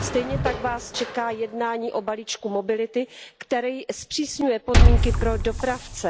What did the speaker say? Stejně tak Vás čeká jednání o balíčku mobility, který zpřísňuje podmínky pro dopravce.